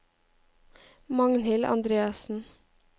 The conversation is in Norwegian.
Magnhild Andreassen